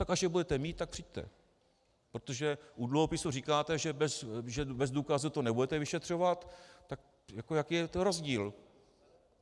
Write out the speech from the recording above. Tak až je budete mít, tak přijďte, protože u dluhopisů říkáte, že bez důkazů to nebudete vyšetřovat, tak jaký je to rozdíl?